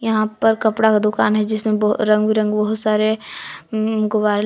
यहां पर कपड़ा का दुकान है जिसमें बहु रंग बिरंगे बहुत सारे उम--